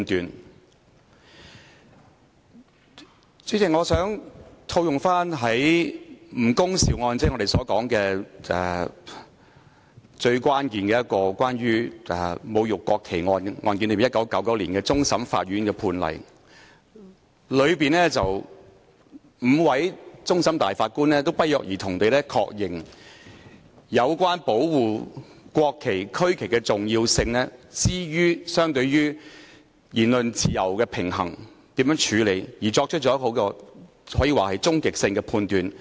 代理主席，我想套用1999年終審法院就"吳恭劭案"——即我們所說關乎侮辱國旗的一宗最關鍵的案例——頒下的判詞，當中5位終審大法官均不約而同地確認應如何處理在保護國旗及區旗的重要性與言論自由之間的平衡，可說是作出了終極判斷。